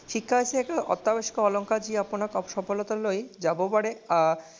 শিক্ষা হৈছে এটা অত্যাৱশ্যকীয় অলংকাৰ মই আপোনাক সফলতা লৈ যাব পাৰে।